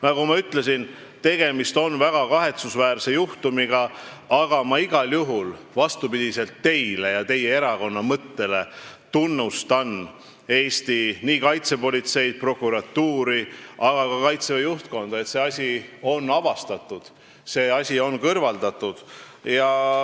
Nagu ma ütlesin, tegemist on väga kahetsusväärse juhtumiga, aga ma igal juhul – vastupidi teile ja teie erakonna mõttele – tunnustan Eesti kaitsepolitseid, prokuratuuri, aga ka Kaitseväe juhtkonda, et see asi on avastatud ja kõrvaldatud.